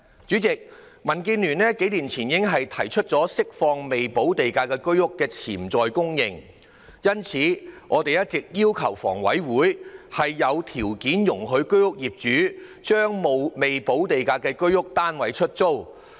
主席，民建聯數年前已提出釋放未補地價居屋的潛在供應，因此，我們一直要求香港房屋委員會有條件容許居屋業主將未補地價的居屋單位出租。